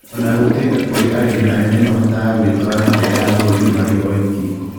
Ona gũtũĩka kũrĩ arĩmi anene mahotaga gũtwara nja ya bũrũri marĩ oiki